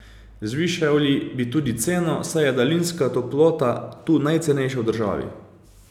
Zvišali bi tudi ceno, saj je daljinska toplota tu najcenejša v državi.